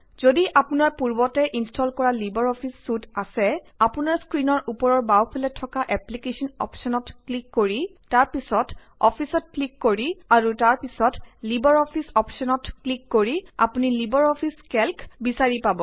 যদি অপোনাৰ পূৰ্বতে ইনষ্টল কৰা লিবাৰ অফিচ চুইট আছে আপোনাৰ স্ক্ৰিণৰ ওপৰৰ বাওঁফালে থকা এপ্লিকেশ্বন অপশ্বনত ক্লিক কৰি তাৰ পিছত অফিচত ক্লিক কৰি অৰু তাৰ পিছত লিবাৰ অফিচ অপশ্বনত ক্লিক কৰি আপুনি লিবাৰ অফিচ কেল্ক বিচাৰি পাব